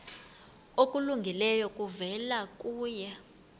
okulungileyo kuvela kuye